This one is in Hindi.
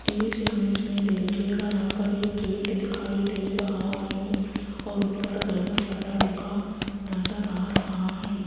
इस इमेज में देखियेगा यहां पर एक गेट दिखाई दे रहा है और ऊपर धर्मशाला लिखा नजर आ रहा है।